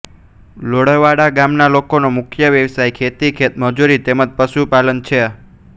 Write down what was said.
લોરવાડા ગામના લોકોનો મુખ્ય વ્યવસાય ખેતી ખેતમજૂરી તેમ જ પશુપાલન છે